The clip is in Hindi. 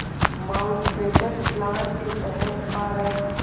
माउंटबेटन प्लान के तहत भारत